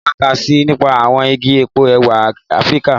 Mo máa kà síi nípa àwọn igi epo ẹ̀wà Afíríkà.